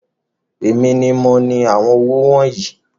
Èmi ní mo ní àwọn owó wọnyii